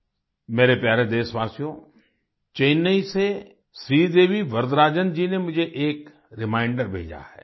मेरे प्यारे देशवासियो चेन्नई से श्रीदेवी वर्दराजन जी ने मुझे एक रिमाइंडर भेजा है